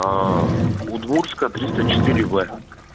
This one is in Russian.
удмуртская триста четыре в